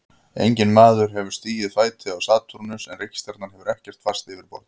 Enginn maður hefur stigið fæti á Satúrnus en reikistjarnan hefur ekkert fast yfirborð.